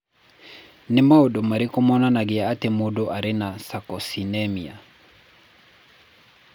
Nĩ maũndũ marĩkũ monanagia atĩ mũndũ arĩ na Sarcosinemia?